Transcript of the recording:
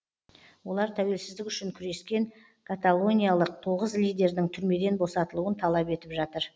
олар тәуелсіздік үшін күрескен каталониялық тоғыз лидердің түрмеден босатылуын талап етіп жатыр